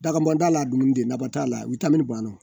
Dagabɔndala dumuni de nafa t'a la banna